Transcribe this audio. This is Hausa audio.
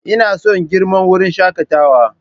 Ina son girman wurin shakatawa.